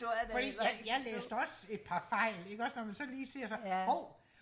fordi jeg jeg læste også et par fejl ikke også når man så lige ser så hov